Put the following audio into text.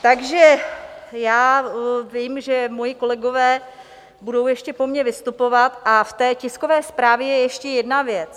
Takže já vím, že moji kolegové budou ještě po mně vystupovat, a v té tiskové zprávě je ještě jedna věc.